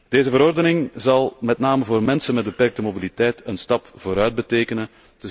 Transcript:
Deze verordening zal met name voor mensen met beperkte mobiliteit een stap vooruit betekenen.